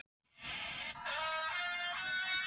Ég finn hvernig hróp mín gera mig auðsveipa.